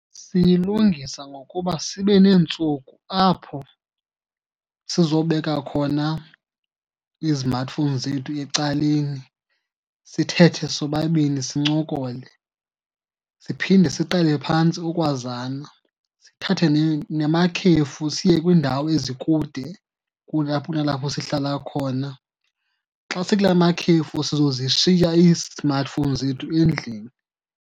Siyilungisa ngokuba sibe neentsuku apho sizobeka khona izimathifowuni zethu ecaleni sithethe sobabini sincokole, siphinde siqale phantsi ukwazana. Sithathe namakhefu siye kwiindawo ezikude kunalapho sihlala khona. Xa sikulaa makhefu sizozishiya isimathifowuni zethu endlini.